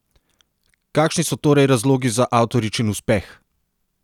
Kakšni so torej razlogi za avtoričin uspeh?